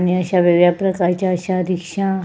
आणि अश्यावेगळ्या प्रकारचा अश्या रिक्शा --